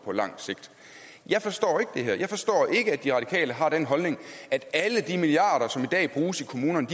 på lang sigt jeg forstår ikke det her jeg forstår ikke at de radikale har den holdning at alle de milliarder som i dag bruges i kommunerne